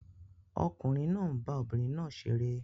Ọkùnrin náà ń bá obìnrin náà ṣeré